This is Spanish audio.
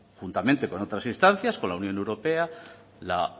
conjuntamente con otras instancias con la unión europea la